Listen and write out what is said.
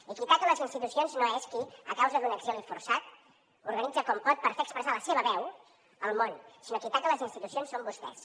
i qui ataca les institucions no és qui a causa d’un exili forçat s’organitza com pot per fer expressar la seva veu al món sinó que qui ataca les institucions són vostès